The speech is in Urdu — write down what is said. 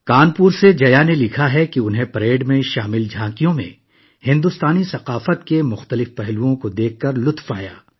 کانپور سے جیا لکھتی ہیں کہ انہیں پریڈ میں شامل جھانکیوں میں بھارتی ثقافت کے مختلف پہلوؤں کو دیکھ کر بہت لطف آیا